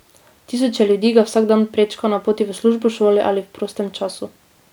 Tisoče ljudi ga vsak dan prečka na poti v službo, šolo ali v prostem času.